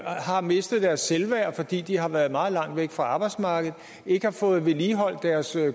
har mistet deres selvværd fordi de har været meget langt væk fra arbejdsmarkedet og ikke har fået vedligeholdt deres